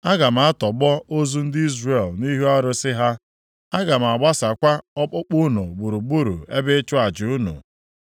Aga m atọgbọ ozu ndị Izrel nʼihu arụsị ha. Aga m aghasakwa ọkpụkpụ unu gburugburu ebe ịchụ aja unu.